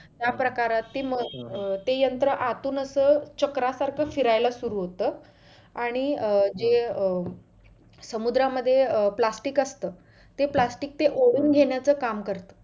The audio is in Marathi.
त्या प्रकारातील मग अं ते यंत्र आतुन असं चक्रा सारख फिरायला सुरु होतं आणि अं जे अं समुद्रामध्ये अं plastic असंत ते plastic ते ओढून घेण्याचं ते काम करत